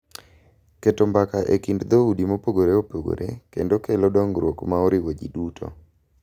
Keto mbaka e kind dhoudi mopogore opogore kendo kelo dongruok ma oriwo ji duto.